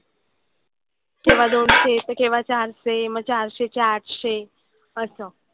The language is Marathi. केव्हा दोनशे त केव्हा चारशे. मग चारशेचे आठशे असं.